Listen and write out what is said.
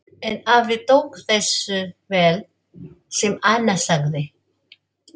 En afi tók þessu vel sem Anna sagði.